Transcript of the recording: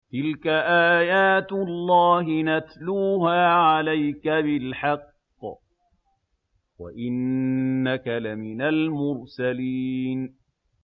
تِلْكَ آيَاتُ اللَّهِ نَتْلُوهَا عَلَيْكَ بِالْحَقِّ ۚ وَإِنَّكَ لَمِنَ الْمُرْسَلِينَ